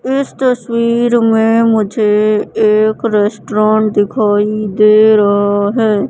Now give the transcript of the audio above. इस तस्वीर में मुझे एक रेस्टोरेंट दिखाई दे रहा है।